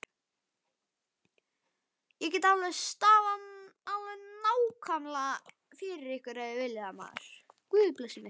Ég get stafað það alveg nákvæmlega fyrir ykkur.